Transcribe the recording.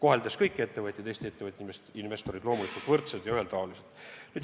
Seejuures me kohtleme kõiki Eesti ettevõtjaid-investoreid loomulikult võrdselt ja ühetaoliselt.